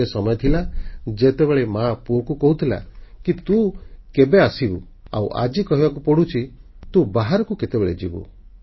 ଗୋଟିଏ ସମୟ ଥିଲା ଯେତେବେଳେ ମା ପୁଅକୁ କହୁଥିଲା କି ତୁ କେବେ ଆସିବୁ ଆଉ ଆଜି କହିବାକୁ ପଡ଼ୁଛି ତୁ ବାହାରକୁ କେତେବେଳେ ଯିବୁ